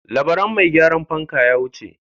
Labaran mai gyaran fanka ya wuce.